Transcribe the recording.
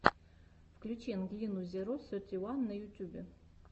включи ангелину зеро сети уан на ютюбе